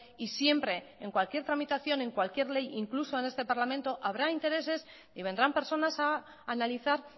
y siempre en cualquier tramitación en cualquier ley incluso en este parlamento habrá intereses y vendrán personas a analizar